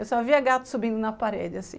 Eu só via gato subindo na parede, assim.